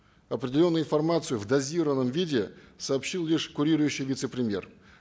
определенную информацию в дозированном виде сообщил лишь курирующий вице премьер